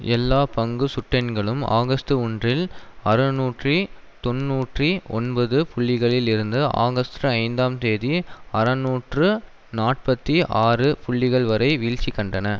எல்லா பங்கு சுட்டெண்களும் ஆகஸ்ட் ஒன்றில் அறநூற்றி தொன்னூற்றி ஒன்பது புள்ளிகளில் இருந்து ஆகஸ்ட் ஐந்தாம் தேதி அறுநூற்று நாற்பத்தி ஆறு புள்ளிகள் வரை வீழ்ச்சி கண்டன